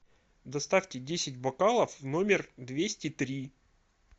доставьте десять бокалов в номер двести три